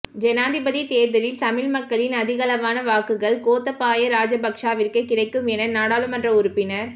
ஜனாதிபதி தேர்தலில் தமிழ் மக்களின் அதிகளவான வாக்குகள் கோத்தபாய ராஜபக்சவிற்கே கிடைக்கும் என நாடாளுமன்ற உறுப்பினர்